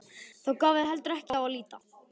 Þar gaf þá heldur en ekki á að líta.